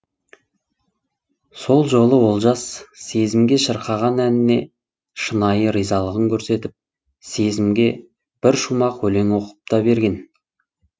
сол жолы олжас сезімге шырқаған әніне шынайы ризалығын көрсетіп сезімге бір шумақ өлең оқып та берген